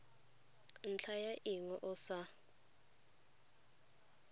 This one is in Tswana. ntlha ya eng o sa